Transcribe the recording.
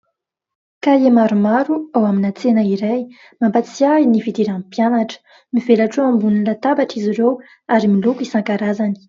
Kahie maromaro ao amina tsena iray, mampatsiahy ahy ny fidiran'ny mpianatra. Mivelatra eo ambony latabatra izy ireo ary miloko isan-karazany.